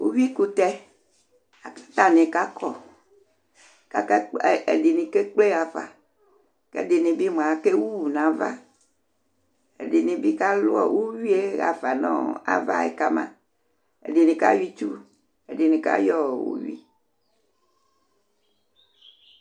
Uyuikʋtɛ la kʋ atanɩ kakɔ kʋ akakpl, ɛdɩnɩ kekple ɣa fa kʋ ɛdɩnɩ bɩ mʋa, akewu nʋ ava Ɛdɩnɩ bɩ kalʋ uyui yɛ ɣa fa nʋ ava yɛ ka ma Ɛdɩnɩ kayɔ itsu, ɛdɩnɩ kayɔ ɔ uyui